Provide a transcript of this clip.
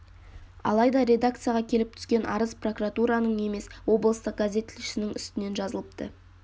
алайда редакцияға келіп түскен арыз прокуратураның емес облыстық газет тілшісінің үстінен жазылыпты